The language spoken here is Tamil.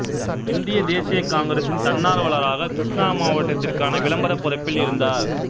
இந்திய தேசிய காங்கிரசின் தன்னார்வலராக கிருஷ்ணா மாவட்டத்திற்கான விளம்பரப் பொறுப்பில் இருந்தார்